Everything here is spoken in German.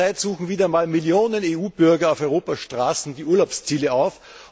Zurzeit suchen wieder einmal Millionen EU Bürger auf Europas Straßen die Urlaubsziele auf.